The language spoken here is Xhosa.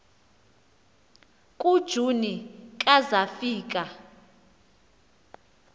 kujuni ka zafika